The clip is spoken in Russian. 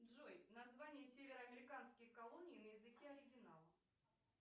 джой название северо американских колоний на языке оригинал